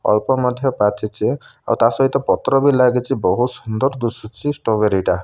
ଅଳ୍ପ ମଧ୍ଯ ପାଚିଛି ଆଉ ତା ସହିତ ପତ୍ରବି ଲାଗିଛ ବହୁତ ସୁନ୍ଦର ଦିଶୁଛି ଷ୍ଟ୍ରବେରିଟା ।